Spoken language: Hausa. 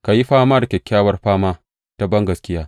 Ka yi fama, kyakkyawar fama ta bangaskiya.